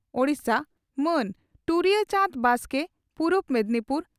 ᱳᱰᱤᱥᱟ) ᱢᱟᱱ ᱴᱩᱨᱩᱭᱟᱹ ᱪᱟᱸᱰᱽ ᱵᱟᱥᱠᱮ (ᱯᱩᱨᱩᱵ ᱢᱮᱫᱽᱱᱤᱯᱩᱨ